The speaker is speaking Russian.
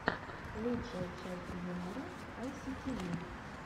лучшая часть юмора айситиви